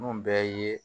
Mun bɛɛ ye